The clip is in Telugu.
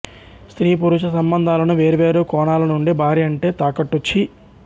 స్త్రీ పురుష సంబంధాలను వేర్వేరు కోణాలనుండి భార్యంటే తాకట్టు ఛీ